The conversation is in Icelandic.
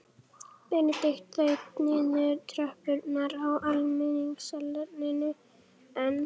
Benedikt þaut niður tröppurnar á almenningssalerninu en